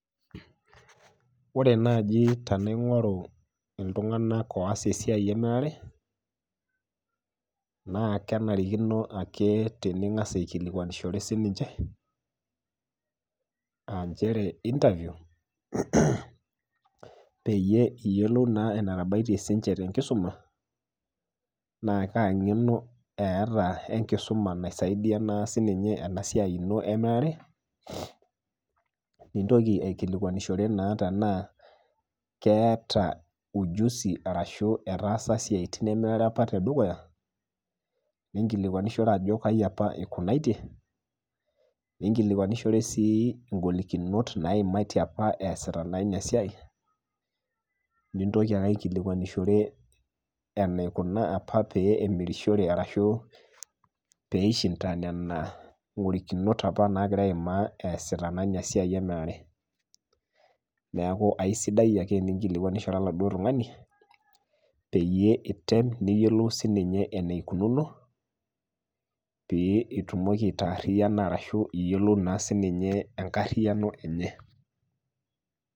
Ore naaji tanaing'oru ltunganak oas esiaai emirare naa kenarikino ake tinigas aikilikwanishore sii ninche aa inchere interview peyie iyolou naa netabaite sii niche te nkisuma naa kaa ing'eno eata enkisuma naisaidia sii ninye enasiai ino emirare, nintoki aikilikuanishore naa tenaa keta ujuzi arashu etaasa siatin apa te dukuya ninkilikuanishore ajo kaji apa eikunatie ninkilikuanishore sii ngolikinot naimatie apa easita iniaa siaai nintoki alo aikilikuanishore eneikuna apa peemirishore arashu peishinta nena golikinot apa naimaa easita naa ina siaai emirare, naaku aisiadi ake iningilikuanishore eladuo tungani peyie item niyiolou sii ninye enaikununo peyie itumoki aitaaririyana ashu iyolou naa sii ninye enkariyano enyee.